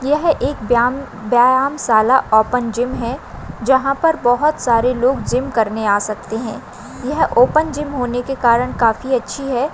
यह एक ब्याम ब्यायामसाला ओपन जीम है जहा पर बहुत सारे लोग जीम करने आ सकते है यह ओपन जीम होने के कारण काफी अच्छी है।